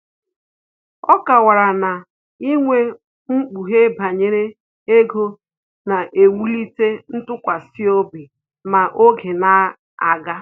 Ọ kọwara na inwe mkpughe banyere ego na-ewulite ntụkwasịobi ma oge na-aga